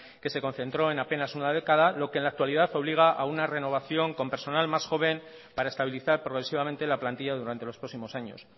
que se concentró en apenas una década lo que en la actualidad obliga a una renovación con personal más joven para estabilizar progresivamente la plantilla durante los próximos años